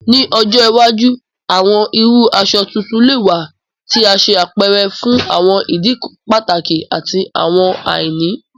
Ni ọjọ iwaju, awọn iru aṣọ tuntun lè wà tí a ṣe àpẹrẹ fún àwọn ìdí pàtàkì àti àwọn àìní.